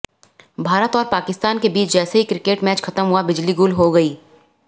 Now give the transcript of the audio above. भारत और पाकिस्तान की बीच जैसे ही क्रिकेट मैच खत्म हुया बिजली गुल हो गयी